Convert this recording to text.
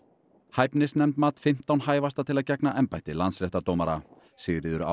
hæfnisnefnd mat fimmtán hæfasta til að gegna embætti landsréttardómara Sigríður á